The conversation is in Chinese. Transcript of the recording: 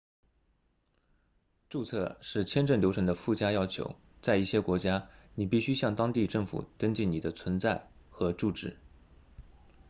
注册是签证流程的附加要求在一些国家你必须向当地政府登记你的存在和住址